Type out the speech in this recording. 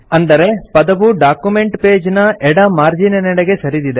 ಅಂದರೆ ಪದವು document page ನ ಎಡ ಮಾರ್ಜೀನಿನೆಡೆಗೆ ಸರಿದಿದೆ